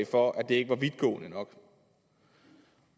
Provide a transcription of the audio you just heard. for at det ikke var vidtgående nok